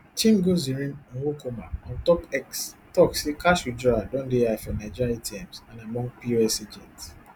chimgozirim nwokoma ontop x tok say cash withdrawal don dey high for nigeria atms and among pos agents